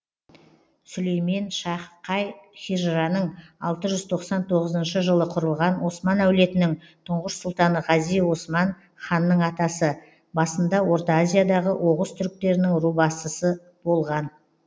сүлейменшах қай хижраның алты жүз тоқсан тоғызыншы жылы құрылған осман әулетінің тұңғыш сұлтаны ғази осман ханның атасы басында орта азиядағы оғыз түрктерінің ру басысы болған